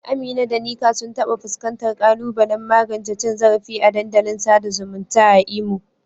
Amina da Nneka sun taɓa fuskantar ƙalubalen magance cin zarafi a dandalin sada zumunta a Imo.